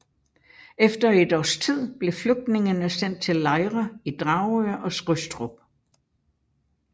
Efter et års tid blev flygtningene sendt til lejre i Dragør og Skrydstrup